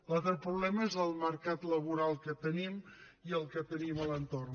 l’altre problema és el mercat laboral que tenim i el que tenim a l’entorn